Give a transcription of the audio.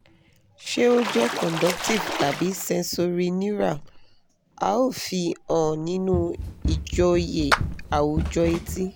ṣé ó jẹ́ conductive tàbí sensorineural? a ó fi han nínú ìjọ́yé àwùjọ etí